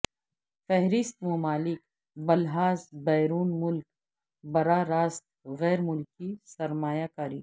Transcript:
فہرست ممالک بلحاظ بیرون ملک براہ راست غیر ملکی سرمایہ کاری